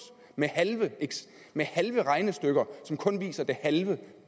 med halve med halve regnestykker som kun viser den halve